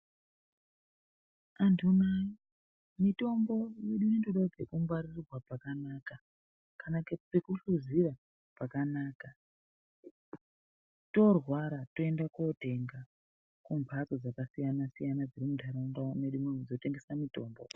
Antu nayi mitombo yedu ino inotodawo pekungwarirwa pakanaka kana pekuhluzira pakanaka toorwara toenda kootenga kumhatso dzakasiyana siyana dziri munharaunda mwedu muno dzinotengesa mitombo.